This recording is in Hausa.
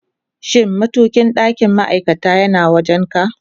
Shin matukin ɗakin ma'aikata yana wajen ka?